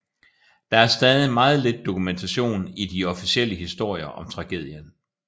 Der er stadig meget lidt dokumentation i de de officielle historier om tragedien